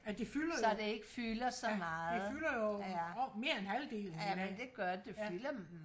ja det fylder jo ja det fylder jo mere end halvdelen ja